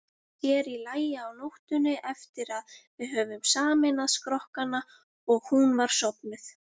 Sér í lagi á nóttunni, eftir að við höfðum sameinað skrokkana og hún var sofnuð.